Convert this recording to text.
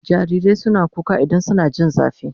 Jarirai suna kuka idan suna jin zafi